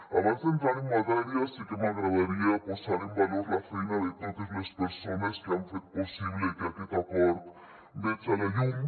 abans d’entrar en matèria sí que m’agradaria posar en valor la feina de totes les persones que han fet possible que aquest acord veja la llum